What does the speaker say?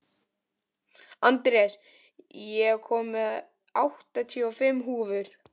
Andreas, ég kom með áttatíu og fimm húfur!